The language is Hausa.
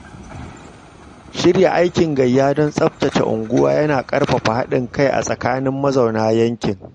Shirya aikin gayya don tsaftace unguwa yana ƙarfafa haɗin kai a tsakanin mazauna yankin.